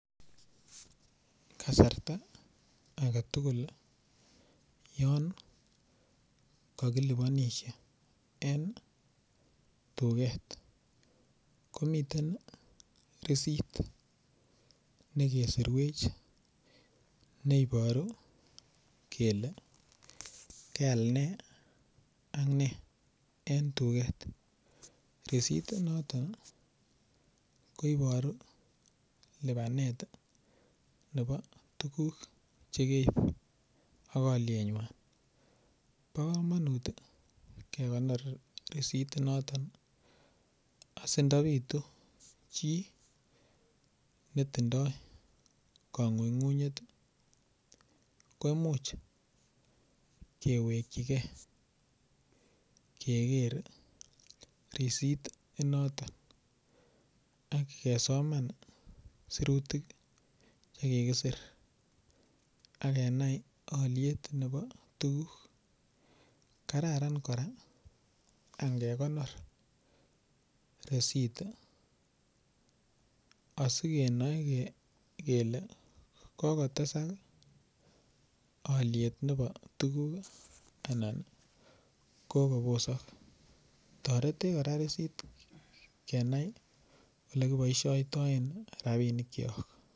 Kasarta agetugul yon kakilibanishe en duket komiten receipt nekeserwech neiporu kele keal ne ak ne en duket resitit noton koiporu lipanet nepo tuguk chekeip ak alwenyon po komanut kekonor risitit noton asindapitu chi netindoy kamanyunet komuch kewekchigei keger risitit inen notok akesoman sirutik chekigisir akenai olyet nepo tuguk kararan kora angekonor risitit asikenae kele kogotesak aalyet nepo tuguk anan kogo poso, toreti koraa receipt kenai ole kipoistoen rapinik cho.